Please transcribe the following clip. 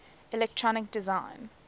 electronic design